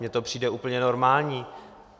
Mně to přijde úplně normální.